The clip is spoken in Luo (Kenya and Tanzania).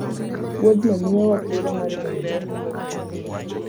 Wuodhno miyowa thuolo mar ng'eyo le mang'eny manie thim.